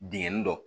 Bingani dɔ